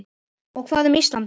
Og hvað um Ísland?